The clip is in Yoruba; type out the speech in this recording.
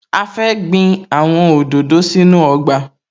A fẹ́ gbin àwọn òdòdó sínú ọgbà